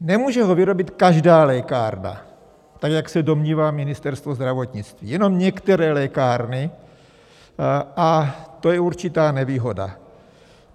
Nemůže ho vyrobit každá lékárna, tak jak se domnívá Ministerstvo zdravotnictví, jenom některé lékárny, a to je určitá nevýhoda.